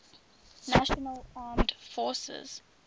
national armed forces